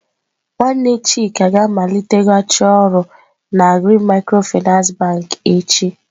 Nwanne Chika ga-amaliteghachi ọrụ na Green micro-finance bank echi.